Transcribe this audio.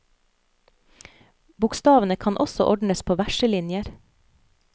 Bokstavene kan også ordnes på verselinjer.